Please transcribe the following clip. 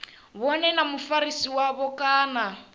vhone na mufarisi wavho kana